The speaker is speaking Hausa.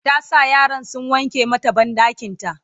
ta sa yaran sun wanke mata banɗakinta